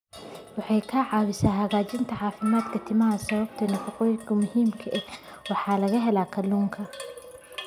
Waxay ka caawisaa hagaajinta caafimaadka timaha sababtoo ah nafaqooyinka muhiimka ah ee laga helo kalluunka.